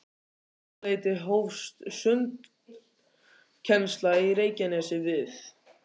Um þetta leyti hófst sundkennsla í Reykjanesi við